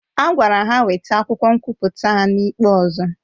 A gwara ha weta akwụkwọ nkwụpụta ha n'ikpe ọzọ